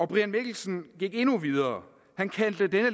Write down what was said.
brian mikkelsen gik endnu videre han kaldte dette